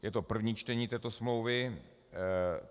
Je to první čtení této smlouvy.